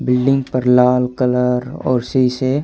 building पर लाल colour और शीशे--